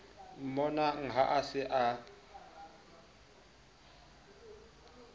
mmonang ha a se a